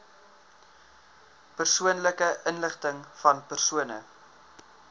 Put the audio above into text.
persoonlike inligtingvan persone